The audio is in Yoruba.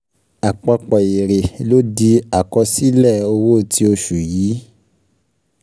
Àpapọ̀ èrè ló di àkọsílẹ owó ti oṣù yìí.